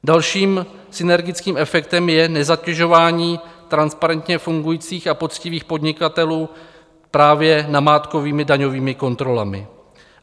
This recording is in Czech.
Dalším synergickým efektem je nezatěžování transparentně fungujících a poctivých podnikatelů právě namátkovými daňovými kontrolami.